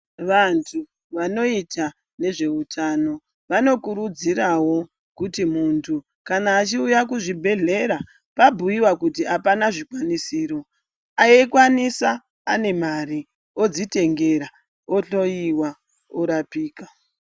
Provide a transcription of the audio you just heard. Vantu vanoita nezveutano vanokurudzirawo kuti muntu kana achiuya kuzvibhedhlera pabhuyiwa kuti apana zvikwanisiro eikwanisa ane mari odzitengera otoyiwa orapika.